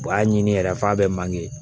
U b'a ɲini yɛrɛ f'a be manke